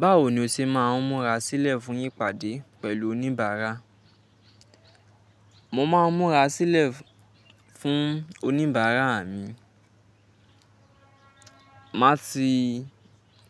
Báwo ni o ṣe máa ń múra sílẹ̀ fún ìpàdé pẹ̀lú oníbàárà? Mo máa ń múra sílẹ̀ fún oníbàárà mi. Màá ti